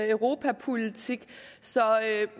europapolitik så